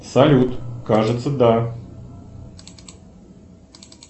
салют кажется да